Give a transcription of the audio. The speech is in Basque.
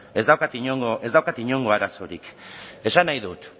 ez daukat inongo arazorik esan nahi dut